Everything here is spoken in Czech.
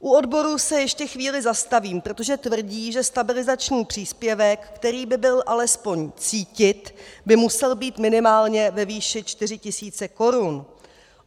U odborů se ještě chvíli zastavím, protože tvrdí, že stabilizační příspěvek, který by byl alespoň cítit, by musel být minimálně ve výši 4 tisíce korun.